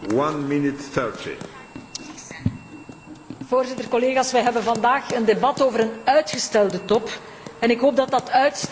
Voorzitter, collega's, we hebben vandaag een debat over een uitgestelde top, en ik hoop dat dat uitstel een teken van ambitie is, want ambitie hebben we nodig.